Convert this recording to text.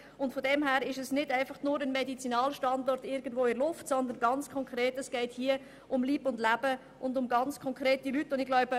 Insofern geht es nicht nur um einen abstrakten Medizinalstandort, sondern um ganz konkrete Menschen.